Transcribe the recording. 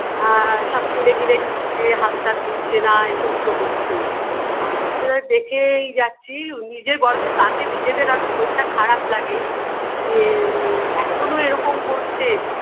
আ সব কিনে কিনে খাচ্ছে হাত টাত ধুচ্ছেনা এই সমস্ত হচ্ছে আ সেটা দেখেই যাচ্ছি নিজে বরঞ্চ তাকে নিজেদের আরও শরীরটা খারাপ লাগে যে উ এখোনো এরকম করছে